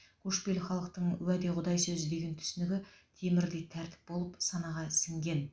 көшпелі халықтың уәде құдай сөзі деген түсінігі темірдей тәртіп болып санаға сіңген